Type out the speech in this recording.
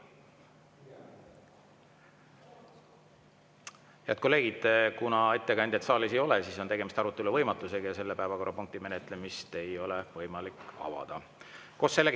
Head kolleegid, kuna ettekandjat saalis ei ole, siis on tegemist arutelu võimatusega ja selle päevakorrapunkti menetlemist ei ole võimalik avada.